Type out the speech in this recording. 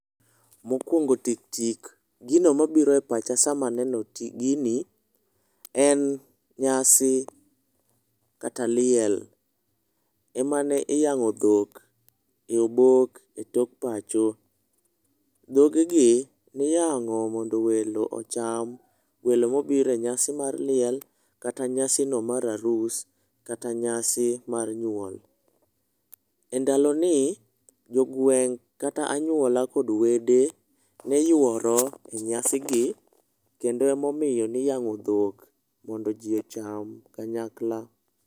Mokwongo tik tik gino mobiro e pacha sama aneno gini en nyasi kata liel emane iyang'o dho e obok e tok pacho. Dhogegi niyang'o mondo welo ocham. Welo mobiro e nyasi mar liel, nyasi mar arus kata nyasi mar nyuol. Endalo ni jogweng' kata anyuola kod wede ne yuoro e nyasi gi kendo emomiyo niyang'o dhok mondo jii ocham kanyakla.